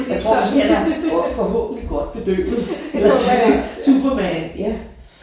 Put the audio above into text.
Jeg tror måske han er forhåbentlig godt bedøvet ellers så er han superman ja